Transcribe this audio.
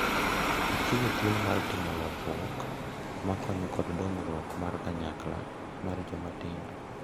Ochiwo thuolo mar timo lokruok ma konyo kod dongruok mar kanyakla mar joma tindo.